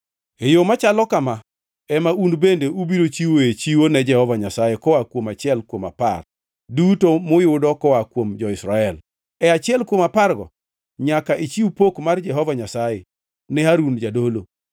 E yo machalo kama ema un bende ubiro chiwoe chiwo ne Jehova Nyasaye koa kuom achiel kuom apar duto muyudo koa kuom jo-Israel. E achiel kuom apargo, nyaka ichiw pok mar Jehova Nyasaye ne Harun, jadolo.